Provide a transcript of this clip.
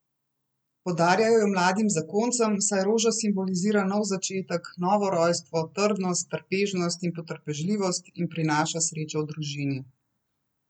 Podarjajo jo mladim zakoncem, saj roža simbolizira nov začetek, novo rojstvo, trdnost, trpežnost in potrpežljivost in prinaša srečo družini.